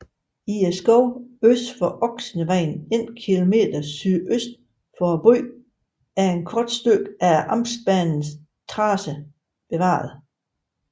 I skoven øst for Oksevejen 1 km sydøst for byen er et kort stykke af amtsbanens tracé bevaret